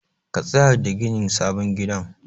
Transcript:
Ka tsaya da ginin sabon gidan.